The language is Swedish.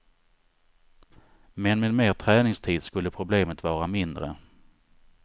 Men med mer träningstid skulle problemet vara mindre.